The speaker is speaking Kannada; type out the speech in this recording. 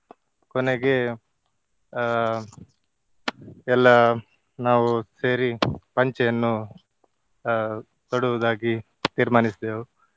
ಕೊನೆಗೆ ಅಹ್ ಎಲ್ಲಾ ನಾವು ಸೇರಿ ಪಂಚೆಯನ್ನು ಅಹ್ ತೊಡುವುದಾಗಿ ತೀರ್ಮಾನಿಸಿದೆವು.